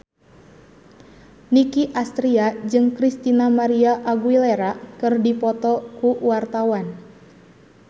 Nicky Astria jeung Christina María Aguilera keur dipoto ku wartawan